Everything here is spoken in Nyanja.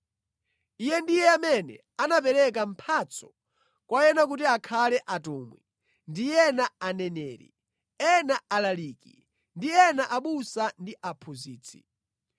Iye ndiye amene anapereka mphatso kwa ena kuti akhale atumwi ndi ena aneneri, ena alaliki, ndi ena abusa ndi aphunzitsi.